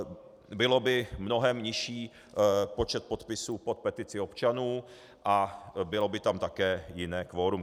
Byl by mnohem nižší počet podpisů pod petici občanů a bylo by tam také jiné kvorum.